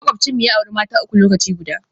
Makwabcinmu ya auri mata uku lokaci guda